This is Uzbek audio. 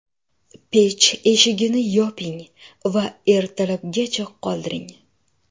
Pech eshigini yoping va ertalabgacha qoldiring.